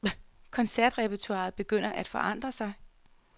Koncertrepertoiret begynder at forandre sig.